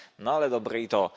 No ale dobre i to.